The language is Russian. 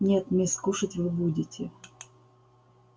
нет мисс кушать вы будете